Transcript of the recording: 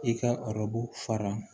I ka araro fara